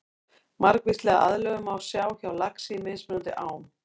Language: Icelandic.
Margvíslega aðlögun má sjá hjá laxi í mismunandi ám.